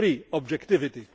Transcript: three objectivity